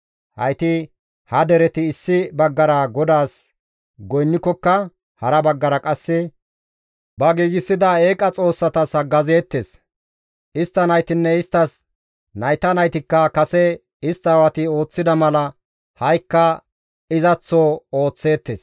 Hayti ha dereti issi baggara GODAAS goynnikokka hara baggara qasse ba giigsida eeqa xoossatas haggazeettes. Istta naytinne isttas nayta naytikka kase istta aawati ooththida mala ha7ikka izaththo ooththeettes.